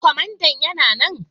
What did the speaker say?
Kwamandan yana nan?